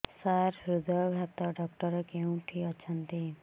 ସାର ହୃଦଘାତ ଡକ୍ଟର କେଉଁଠି ଅଛନ୍ତି